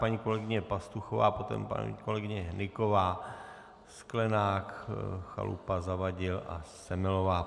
Paní kolegyně Pastuchová, potom paní kolegyně Hnyková, Sklenák, Chalupa, Zavadil a Semelová.